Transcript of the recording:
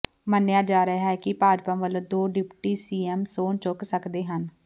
ਮੰਨਿਆ ਜਾ ਰਿਹਾ ਹੈ ਕਿ ਭਾਜਪਾ ਵੱਲੋਂ ਦੋ ਡਿਪਟੀ ਸੀਐੱਮ ਸਹੁੰ ਚੁੱਕ ਸਕਦੇ ਹਨ